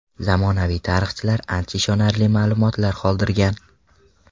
Zamonaviy tarixchilar ancha ishonarli ma’lumotlar qoldirgan.